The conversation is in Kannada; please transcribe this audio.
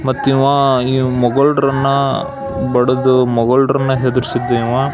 ಮತ್ತ್ ಇವ ಮೊಘಲ್ರನ್ನ ಬಡಿದು ಮೊಘಲ್ರನ್ನ ಹೆದ್ರಿಸಿದ್ದ ಇವ .